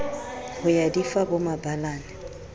ho ya di fa bomabalane